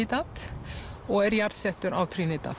Trinidad og er jarðsettur á